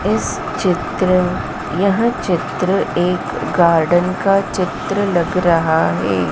इस चित्र यह चित्र एक गार्डन का चित्र लग रहा है।